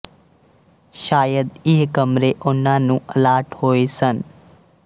ਸ਼ਾਇਦ ਇਹ ਕਮਰੇ ਉਨ੍ਹਾਂ ਨੂੰ ਅਲਾਟ ਹੋਏ ਸਨ